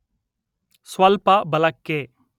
ಸ್ವಲ್ಪ ಬಲ ಕ್ಕೆ